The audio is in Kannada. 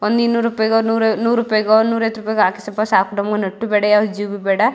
ಒಂದ್ ಇನ್ನೂರು ರೂಪಾಯಿಗೋ ನೂರ್ ರೂಪಾಯಿಗೋ ನೂರ್ ಐವತ್ತು ರೂಪಾಯಿಗೋ ಹಾಕಿಸಪ್ಪ ನಮ್ಗ್ ನೆಟ್ ಬೇಡ ಯಾವ ಜಿಬಿ ಬೇಡ.